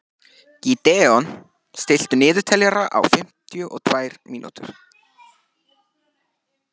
Gídeon, stilltu niðurteljara á fimmtíu og tvær mínútur.